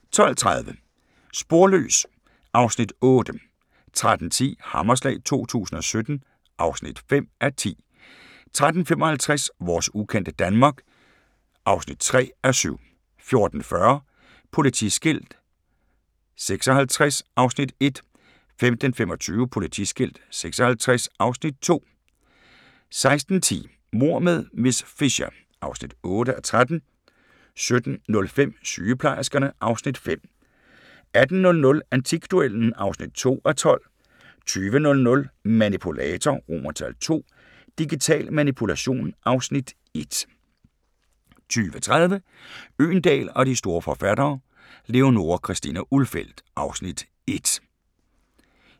12:30: Sporløs (Afs. 8) 13:10: Hammerslag 2017 (5:10) 13:55: Vores ukendte Danmark (3:7) 14:40: Politiskilt 56 (Afs. 1) 15:25: Politiskilt 56 (Afs. 2) 16:10: Mord med miss Fisher (8:13) 17:05: Sygeplejerskerne (Afs. 5) 18:00: Antikduellen (2:12) 20:00: Manipulator II – Digital Manipulation (Afs. 1) 20:30: Øgendahl og de store forfattere: Leonora Christina Ulfeldt (Afs. 1)